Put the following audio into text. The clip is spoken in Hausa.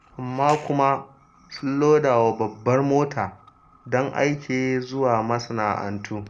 Amma kuma sun loda wa babbar mota don aike zuwa masana'antu.